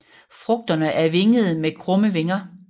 Frugterne er vingede med krumme vinger